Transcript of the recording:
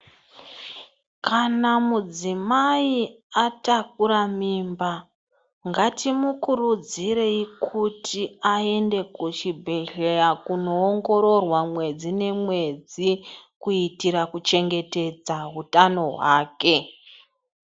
Kana mudzimai atakura mimba ngatimukurudzirei kuti aende kubhehlera konoongororwa mwedzi nemwedzi kuitira kuchengetedza utano hwake